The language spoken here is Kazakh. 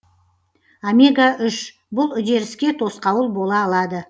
омега үш бұл үдеріске тосқауыл бола алады